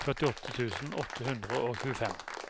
førtiåtte tusen åtte hundre og tjuefem